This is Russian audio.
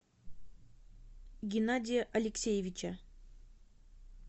геннадия алексеевича